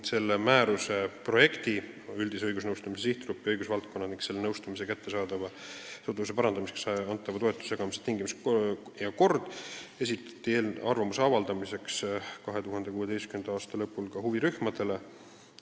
Asjaomane määrus kannab nime "Üldise õigusnõustamise sihtgrupp ja õigusvaldkonnad ning selle nõustamise kättesaadavuse parandamiseks antava toetuse jagamise tingimused ja kord" ning selle eelnõu esitati arvamuse avaldamiseks 2016. aasta lõpul ka huvirühmadele.